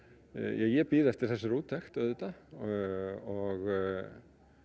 ég bíð eftir þessari úttekt auðvitað og